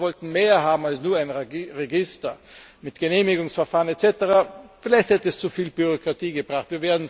Viele von uns wollten mehr haben als nur ein Register mit Genehmigungsverfahren etc. Vielleicht hätte es zu viel Bürokratie gebracht.